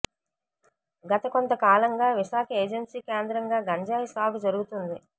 గత కొంత కాలంగా విశాఖ ఏజెన్సీ కేంద్రంగా గంజాయి సాగు జరుగుతుంది